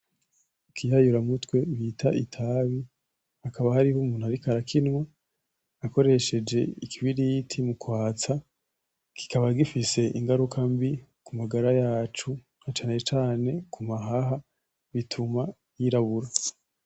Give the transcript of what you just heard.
Ikiyayuramutwe bita itabi hakaba hariho umuntu ariko arakinwa akoresheje ikibiriti mukwatsa , kikaba gifise ingaruka mbi kumagara yacu cana cane ku mahaha bituma yirabura.